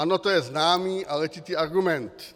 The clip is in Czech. Ano, to je známý a letitý argument.